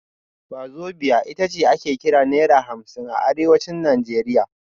Wazobia ita ce ake kira Naira hamsin a Arewacin Najeriya